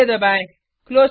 enter दबाएँ